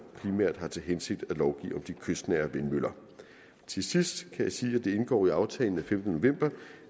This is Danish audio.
primært har til hensigt at lovgive om de kystnære vindmøller til sidst kan jeg sige at det indgår i aftalen af femtende november